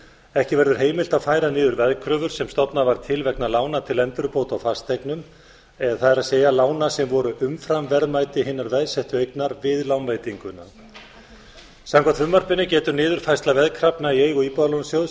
ekki verður heimilt að færa niður veðkröfur sem stofnað var til vegna lána til endurbóta á fasteignum það er lána sem voru umfram verðmæti hinnar veðsettu eignar við lánveitinguna samkvæmt frumvarpinu getur niðurfærsla veðkrafna í eigu íbúðalánasjóðs